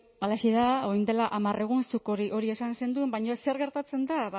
halaxe da orain dela hamar egun zuk hori esan zenuen baina zer gertatzen da